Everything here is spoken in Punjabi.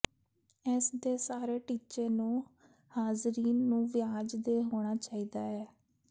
ਇਸ ਦੇ ਸਾਰੇ ਟੀਚੇ ਨੂੰ ਹਾਜ਼ਰੀਨ ਨੂੰ ਵਿਆਜ ਦੇ ਹੋਣਾ ਚਾਹੀਦਾ ਹੈ